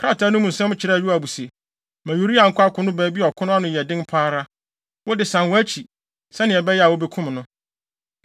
Krataa no mu nsɛm kyerɛɛ Yoab se, “Ma Uria nkɔ akono baabi a ɔko no ano yɛ den pa ara. Wo de, san wʼakyi, sɛnea ɛbɛyɛ a, wobekum no.”